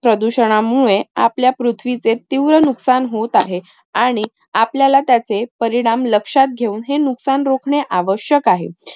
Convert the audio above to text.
प्रदूषणामुळे आपल्या पृथ्वीचे तीव्र नुकसान होत आहे आणि आपल्याला त्याचे परिणाम लक्षात घेऊन हे नुकसान रोखणे आवश्यक आहे.